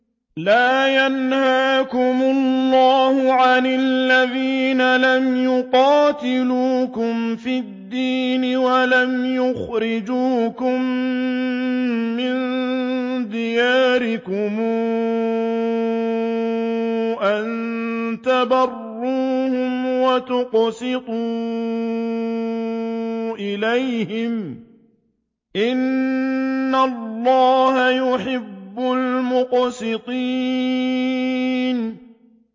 لَّا يَنْهَاكُمُ اللَّهُ عَنِ الَّذِينَ لَمْ يُقَاتِلُوكُمْ فِي الدِّينِ وَلَمْ يُخْرِجُوكُم مِّن دِيَارِكُمْ أَن تَبَرُّوهُمْ وَتُقْسِطُوا إِلَيْهِمْ ۚ إِنَّ اللَّهَ يُحِبُّ الْمُقْسِطِينَ